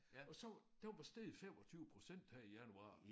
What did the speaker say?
Og så den var steget 25% her i januar